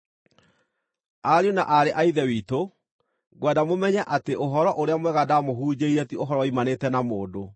Ariũ na aarĩ a Ithe witũ, ngwenda mũmenye atĩ Ũhoro-ũrĩa-Mwega ndamũhunjĩirie ti ũhoro woimanĩte na mũndũ.